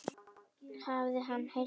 Hafi hann heill mælt.